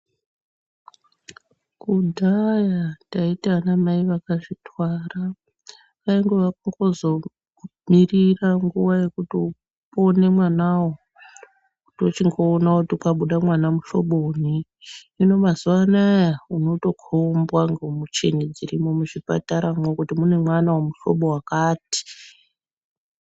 Kudhaya taiti ana mai vakazvitwara kwaingova kungo zongomirira nguva yekuti upone mwanawo kwochingoona kuti kwabuda mwana muhloboyi hino mazuva ano kwava kutikombwa nemichini dzirimwo kuti mune mwana wemuhlobo wakati.